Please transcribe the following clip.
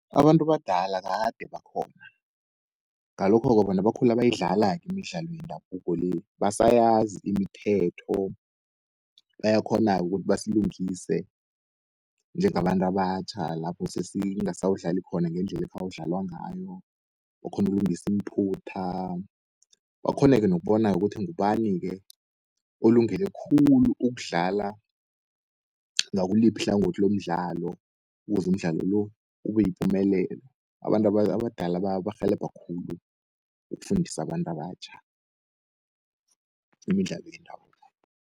Abantu abadala kade bakhona, ngalokho-ke bona bakhula bayidlala-ke imidlalo yendabuko le, basayazi imithetho. Bayakghona-ke ukuthi basilungisise njengabantu abatjha lapho sesingasawudlali khona ngendlele ekhawu dlalwa ngawo. Bakghonu ukulungisi iimphutha bakghone-ke nokubona-ke ukuthi ngubani-ke olungele khulu ukudlala ngakuliphi ihlangothi lomdlalo, kuze umdlalo lo, ubeyipumelelo. Abantu abadala barhelebha khulu ukufundisa abantu abatjha imidlalo yendabuko.